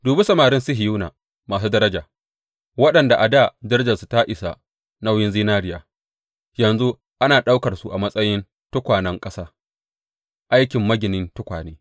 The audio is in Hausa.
Dubi samarin Sihiyona masu daraja, waɗanda a dā darajarsu ta isa nauyin zinariya, yanzu ana ɗaukar su a matsayin tukwanen ƙasa, aikin maginin tukwane!